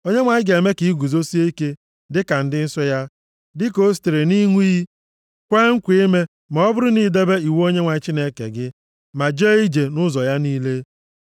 Onyenwe anyị ga-eme ka i guzosie ike dịka ndị nsọ ya, dịka o sitere nʼịṅụ iyi kwee nkwa ime ma ọ bụrụ na i debe iwu Onyenwe anyị Chineke gị, ma jee ije nʼụzọ ya niile.